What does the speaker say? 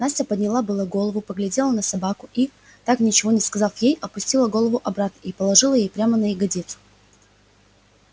настя подняла было голову поглядела на собаку и так ничего не сказав ей опустила голову обратно и положила ей прямо на ягодицу